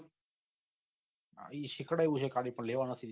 એ સીખવાડિયું છે પન લેવા નથી દીઘા